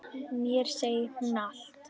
Mér segir hún allt: